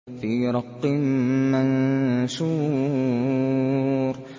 فِي رَقٍّ مَّنشُورٍ